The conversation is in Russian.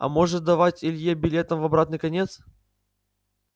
а может давать илье билеты в обратный конец